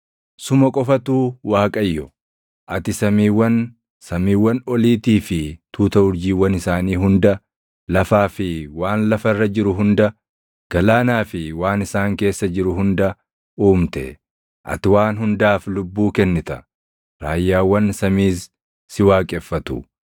Suma qofatu Waaqayyo. Ati samiiwwan, samiiwwan oliitii fi tuuta urjiiwwan isaanii hunda, lafaa fi waan lafa irra jiru hunda, galaanaa fi waan isaan keessa jiru hunda uumte. Ati waan hundaaf lubbuu kennita; raayyaawwan samiis si waaqeffatu.